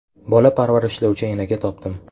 Bola parvarishlovchi enaga topdim.